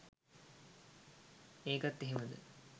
ඒකත් එහෙමද